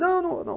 Não, não, não.